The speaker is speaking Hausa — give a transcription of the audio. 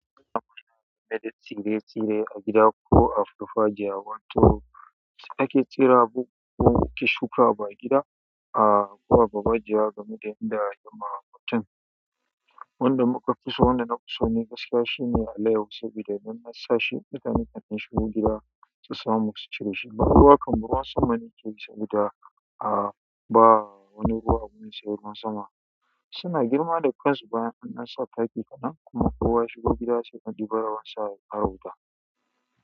Meditsire tsire a gida ko a farfajiya wato su ake cewa ki shuka ba gida a kuwa babaje gamu da inda ya ma batun. Wanda muka fi so wanda na fi so ne gaskiya shine alayhu sabida idan na sashi ita nika tashi shigo gida sai sama su cire shi. Dukawa kambowan saman yake sabida a ba wani ruwa mun sayarwa sama. Suna girma da kansu bayan an sa taki kenan kuma kowa shigo gida sai ka ji barawon sa ya fara wuta.